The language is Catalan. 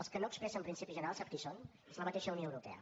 els que no expressen principis generals sap qui són és la mateixa unió europea